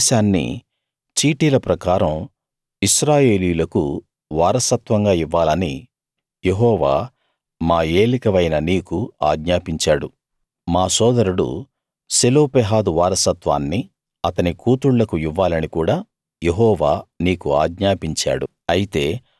ఈ దేశాన్ని చీటీల ప్రకారం ఇశ్రాయేలీయులకు వారసత్వంగా ఇవ్వాలని యెహోవా మా ఏలికవైన నీకు ఆజ్ఞాపించాడు మా సోదరుడు సెలోపెహాదు వారసత్వాన్ని అతని కూతుళ్ళకు ఇవ్వాలని కూడా యెహోవా నీకు ఆజ్ఞాపించాడు